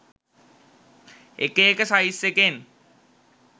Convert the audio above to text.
එක එක සයිස් එකෙන්.